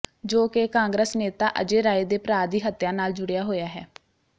ਜੋ ਕਿ ਕਾਂਗਰਸ ਨੇਤਾ ਅਜੈ ਰਾਏ ਦੇ ਭਰਾ ਦੀ ਹੱਤਿਆ ਨਾਲ ਜੁੜਿਆ ਹੋਇਆ ਹੈ